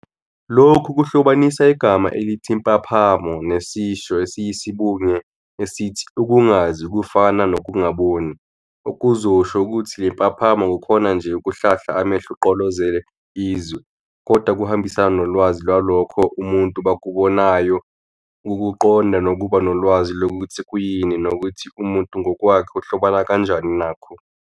Lokhu kuhlobanisa igama elithi impaphamo nesisho esiyisibunge esithi 'ukungazi kufana nokungaboni', okuzosho ukuthi lempaphamo akukhona nje ukuhlahla amehlo ugqolozele izwe, kodwa kuhambisana nolwazi lwalokho umuntubakubonayo, ukukuqonda nokuba nolwazi lokuthi kuyini nokuthi umuntu ngokwakhe uhlobana kanjani nakho.